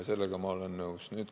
Sellega ma olen nõus.